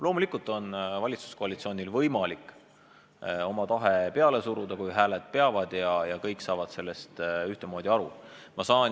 Loomulikult on valitsuskoalitsioonil võimalik oma tahet peale suruda, kui kõik nende liikmed ühtviisi hääletavad ja kõik sellest ühtmoodi aru saavad.